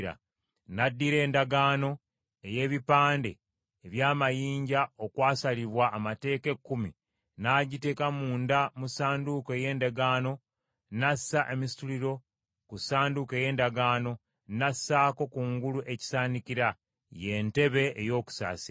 N’addira Endagaano, ey’ebipande eby’amayinja okwasalibwa Amateeka Ekkumi, n’agiteeka munda mu Ssanduuko ey’Endagaano, n’assa emisituliro ku Ssanduuko ey’Endagaano, n’assaako kungulu ekisaanikira, ye ntebe ey’okusaasira;